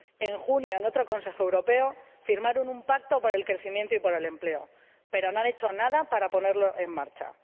En junio, en otro Consejo Europeo, firmaron un Pacto por el Crecimiento y el Empleo, pero no han hecho nada para ponerlo en marcha.